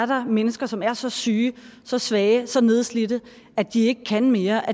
der er mennesker som er så syge så svage så nedslidte at de ikke kan mere